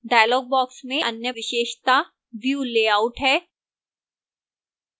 dialog box में अन्य विशेषता view layout है